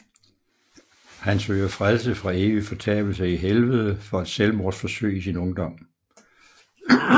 Han søger frelse fra evig fortabelse i Helvede for et selvmordsforsøg i sin ungdom